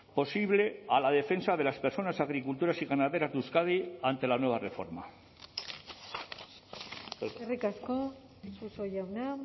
posible a la defensa de las personas agricultoras y ganaderas de euskadi ante la nueva reforma eskerrik asko suso jauna